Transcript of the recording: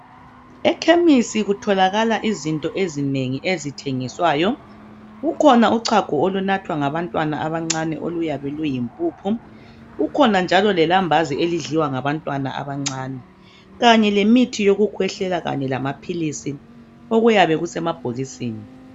Ekhemisi kutholakala izinto ezinengi ezithengiswayo. Kukhona uchago olunathwa ngabantwana abancane oluyabe luyimpuphi, kukhona njalo lelambazi elidliwa ngabantwana abancane kanye lemithi yokukhwehlela kanye lamaphilizi okuyabe kusemabhokisini.